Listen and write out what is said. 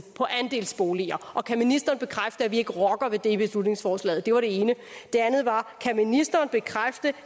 på andelsboliger og kan ministeren bekræfte at vi ikke rokker ved det med beslutningsforslaget det var det ene det andet var kan ministeren bekræfte